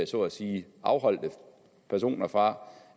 så at sige afholdt personer fra